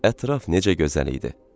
Ətraf necə gözəl idi.